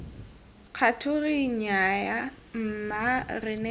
kgature nnyaya mma re ne